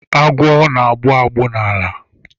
Agwọ na-agbụ agbụ n'ala.